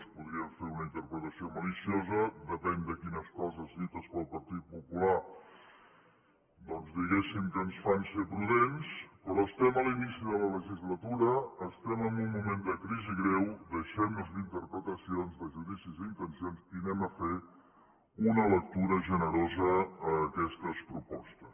en podríem fer una interpretació maliciosa depèn de quines coses dites pel partit popular doncs diguéssim que ens fan ser prudents però estem a l’inici de la legislatura estem en un moment de crisi greu deixem nos d’interpretacions de judicis d’intencions i anem a fer una lectura generosa d’aquestes propostes